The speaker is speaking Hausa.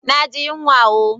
Na ji yanwa ooo.